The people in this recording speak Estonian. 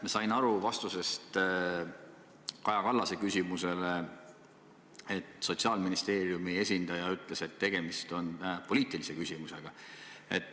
Ma sain aru vastusest Kaja Kallase küsimusele, et Sotsiaalministeeriumi esindaja ütles, et tegemist on poliitilise küsimusega.